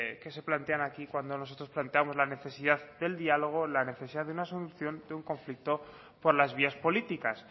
que se plantean aquí cuando nosotros plantemos la necesidad del diálogo la necesidad de una solución de un conflicto por las vías políticas